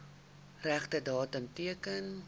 regte datum teken